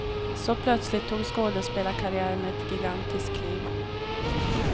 Så plötsligt tog skådespelarkarriären ett gigantiskt kliv.